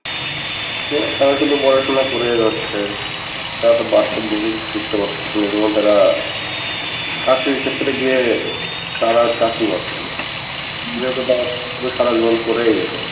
তারা শুধু পড়াশোনা করে যাচ্ছে তারা তো বাস্তব কিছু শিখতে পারতেছে না এজন্য তারা চাকরির ক্ষেত্রে গিয়ে তারা চাকরী পাচ্ছে না, যেহেতু তারা শুধু সারা জীবন পরেই গেছে